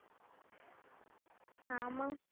हा मग